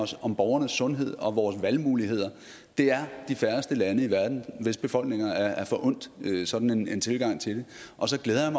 om borgernes sundhed og valgmuligheder det er de færreste lande i verden hvis befolkninger er forundt sådan en tilgang til det og så glæder jeg